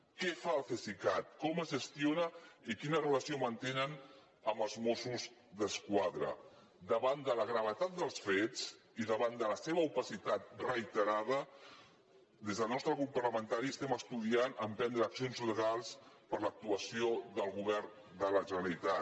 què fa el cesicat com es gestiona i quina relació manté amb els mossos d’esquadra davant de la gravetat dels fets i davant de la seva opacitat reiterada des del nostre grup parlamentari estem estudiant emprendre accions legals per l’actuació del govern de la generalitat